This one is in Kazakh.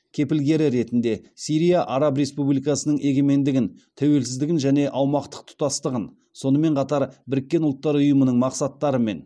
кепілгері ретінде сирия араб республикасының егемендігін тәуелсіздігін және аумақтық тұтастығын сонымен қатар біріккен ұлттар ұйымының мақсаттарымен